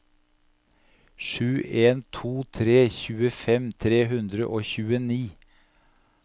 sju en to tre tjuefem tre hundre og tjueni